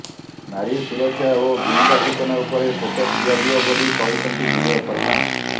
ନାରୀ ସୁରକ୍ଷା ଓ ଗୁଇନ୍ଦା ସୂଚନା ଉପରେ ଫୋକସ ଦିଆଯିବ ବୋଲି କହିଛନ୍ତି ବିଜୟ ଶର୍ମା